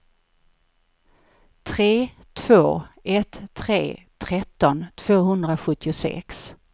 tre två ett tre tretton tvåhundrasjuttiosex